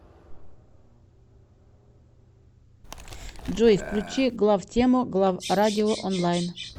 джой включи главтему главрадио онлайн